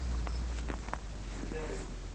ширяевой